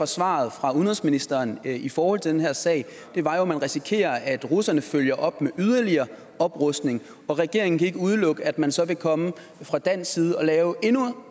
svaret fra udenrigsministeren i forhold til den her sag var jo at man risikerer at russerne følger op med yderligere oprustning og regeringen kan ikke udelukke at man så vil komme fra dansk side og lave endnu